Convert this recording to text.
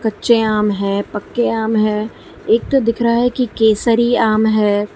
कच्चे आम हैं पक्के आम हैं एक तो दिख रहा है कि केसरी आम है।